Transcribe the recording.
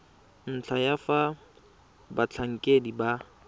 ntlha ya fa batlhankedi ba